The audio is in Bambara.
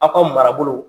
Aw ka marabolo